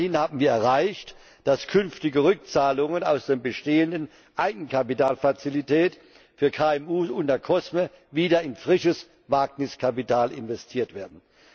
Aber immerhin haben wir erreicht, dass künftige Rückzahlungen aus der bestehenden Eigenkapitalfazilität für KMU unter COSME wieder in frisches Wagniskapital investiert werden.